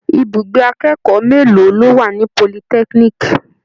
Ibùgbé akẹ́kọ̀ó mélòó ló wà ní politẹ́kíníìkì?